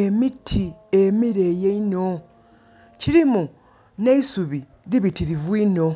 emiti emileyi einho. Kirimu neisubi iibitirivu iinho.